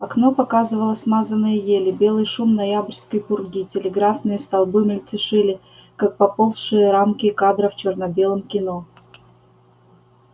окно показывало смазанные ели белый шум ноябрьской пурги телеграфные столбы мельтешили как поползшие рамки кадра в чёрно-белом кино